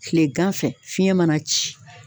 Kilegan fɛ fiɲɛ mana ci